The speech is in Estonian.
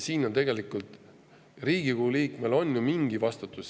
Riigikogu liikmel on tegelikult ju mingi vastutus.